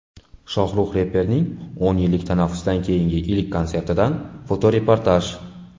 Shohrux reperning o‘n yillik tanaffusdan keyingi ilk konsertidan fotoreportaj.